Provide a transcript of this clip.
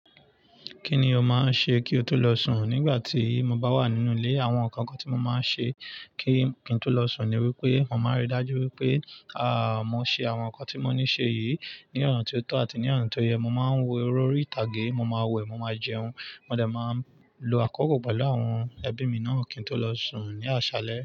Kí ni o máa ń ṣe kí o tó lọ sùn? Nígbà tí mo bá wà nínú ilé, àwọn nǹkan kan tí mo máa ń ṣe kí n tó lọ sùn ni wípé, mo máa rí dájú wípé, à, mo ṣe àwọn ǹkan tí mo ní ṣe yìí ní ọ̀nà tí ó tọ́ àti ní ọ̀nà tí ó yẹ. Mo máa ń wo eré orí ìtàgé, mo máa wẹ̀, mo máa jẹun, mo dẹ̀ máa lo àkókò pẹ̀lú àwọn ẹbí mi náà kí n tó lọ sùn ní àṣálẹ́.